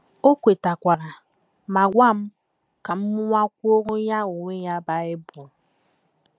O kwetara ma gwa m ka m mụwakwuoro ya onwe ya Bible.